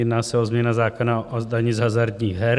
Jedná se o změnu zákona o daní z hazardních her.